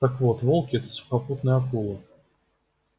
так вот волки это сухопутные акулы